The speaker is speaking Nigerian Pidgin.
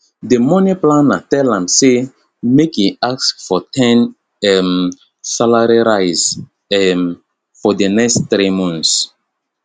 d money planner tell am say make e ask for ten um salary rise um for d next three months